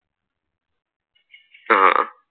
ആഹ്